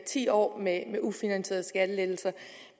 ti år med ufinansierede skattelettelser